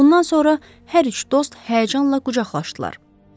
Bundan sonra hər üç dost həyəcanla qucaqlaşdılar.